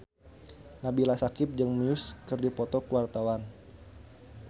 Nabila Syakieb jeung Muse keur dipoto ku wartawan